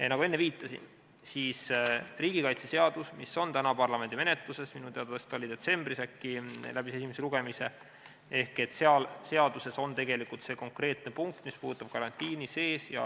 Nagu ma enne viitasin, siis riigikaitseseaduses, mis on parlamendi menetluses – minu teada see detsembris läbis esimese lugemise –, on see konkreetne punkt, mis puudutab karantiini.